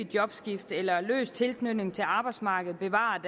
jobskifter eller løs tilknytning til arbejdsmarkedet bevarer